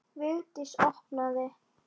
Vigdís opnaði.